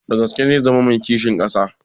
Da gaske zai zama mai kishin ƙasa?